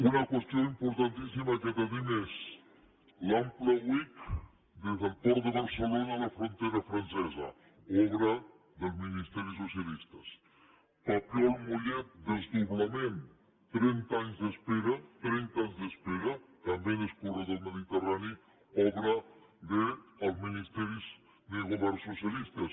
una qüestió importantíssima que tenim és l’ample uic des del port de barcelona a la frontera francesa obra de ministeris socialistes el papiol mollet desdoblament trenta anys d’espera trenta anys d’espera també en l’eix corredor mediterrani obra de ministeris de governs socialistes